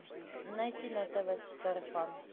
найти на тв сарафан